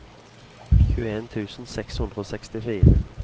tjueen tusen seks hundre og sekstifire